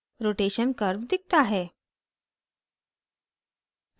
rotation curve दिखता है